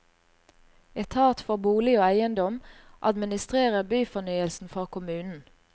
Etat for bolig og eiendom administrerer byfornyelsen for kommunen.